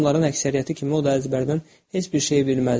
İşgüzar adamların əksəriyyəti kimi o da əzbərdən heç bir şeyi bilməzdi.